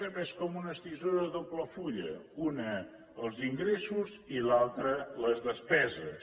també és com una tisora de doble fulla una els ingressos i l’altra les despeses